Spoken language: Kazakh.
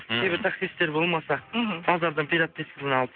кейбір таксистер болмаса мхм базардан пират дискіні алып